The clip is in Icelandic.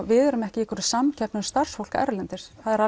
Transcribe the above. við erum ekki í einhverri samkeppni um starfsfólk erlendis það er